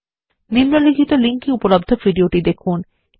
নিম্নলিখিত লিঙ্ক এ উপলব্ধ ভিডিওটি দেখুন